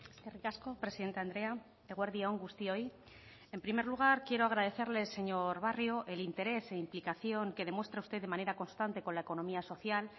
eskerrik asko presidente andrea eguerdi on guztioi en primer lugar quiero agradecerle señor barrio el interés e implicación que demuestra usted de manera constante con la economía social